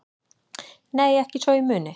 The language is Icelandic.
Nei ekki svo ég muni